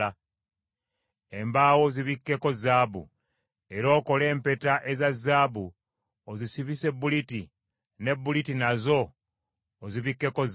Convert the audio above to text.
Embaawo ozibikkeko zaabu, era okole empeta eza zaabu ozisibise buliti; ne buliti nazo ozibikkeko zaabu.